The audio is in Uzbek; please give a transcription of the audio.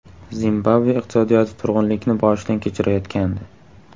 Zimbabve iqtisodiyoti turg‘unlikni boshidan kechirayotgandi.